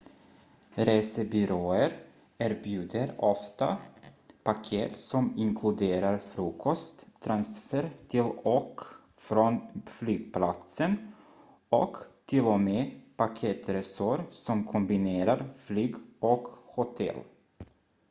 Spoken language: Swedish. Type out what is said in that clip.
resebyråer erbjuder ofta paket som inkluderar frukost transfer till och från flygplatsen och till och med paketresor som kombinerar flyg och hotell